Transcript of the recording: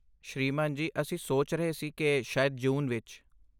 ਸ੍ਰੀਮਾਨ ਜੀ, ਅਸੀਂ ਸੋਚ ਰਹੇ ਸੀ ਕਿ ਸ਼ਾਇਦ ਜੂਨ ਵਿਚ?